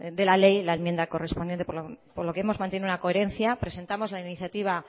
de la ley la enmienda correspondiente por lo que hemos mantenido una coherencia presentamos la iniciativa